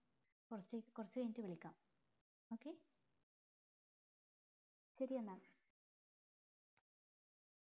കൊറച്ച് കൊറച്ച് കഴിഞ്ഞിട്ട് വിളിക്കാം okay ശെരി എന്ന